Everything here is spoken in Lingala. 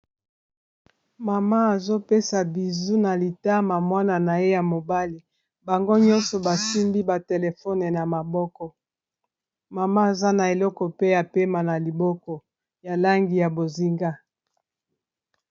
Mama azopesa bizu na litama mwana na ye ya mobali bango nyonso basimbi ba telefone na maboko mama aza na eleko pe ya pema na liboko ya langi ya bozinga.